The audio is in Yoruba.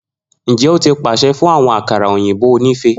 Njẹ o ti paṣẹ fun awọn akara oyinbo onife?